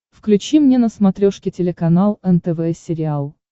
включи мне на смотрешке телеканал нтв сериал